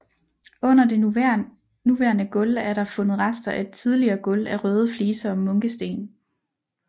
Under det nuværende gulv er der fundet rester af et tidligere gulv af røde fliser og munkesten